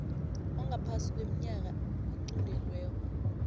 ongaphasi kweminyaka equntelweko